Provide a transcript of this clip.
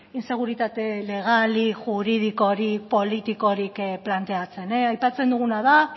inseguritate legalik juridikorik politikorik planteatzen aipatzen duguna da